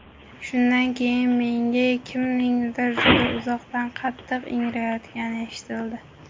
Shundan keyin menga kimningdir juda uzoqdan qattiq ingrayotgani eshitildi.